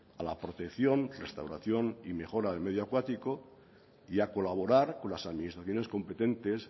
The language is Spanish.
a la protección restauración y mejora del medio acuático y a colaborar con las administraciones competentes